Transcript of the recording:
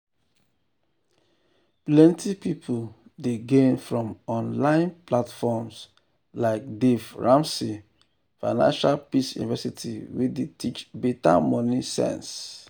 plenty people dey gain from online platforms like dave ramsey financial peace university wey dey teach better money sense.